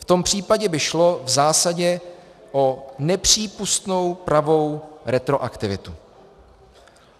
V tom případě by šlo v zásadě o nepřípustnou pravou retroaktivitu.